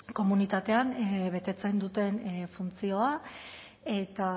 komunitatean betetzen duten funtzioa eta